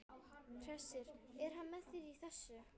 Hersir: Er hann með þér í þessu?